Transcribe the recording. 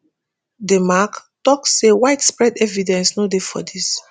di mac tok say widespread evidence no dey of dis.